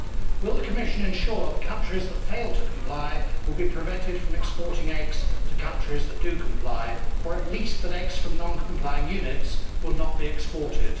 Will the Commission ensure that countries that fail to comply will be prevented from exporting eggs to countries that do comply, or at least that eggs from non complying units will not be exported?